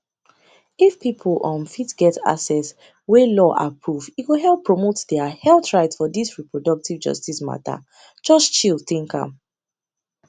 if people um fit get access wey law approve e go help promote their health rights for this reproductive justice matter just chill think am